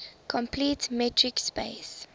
complete metric space